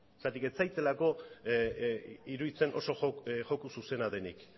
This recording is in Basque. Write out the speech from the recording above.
zeren ez zaidalako iruditzen oso joku zuzena denik